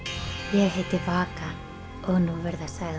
ég heiti Vaka og nú verða sagðar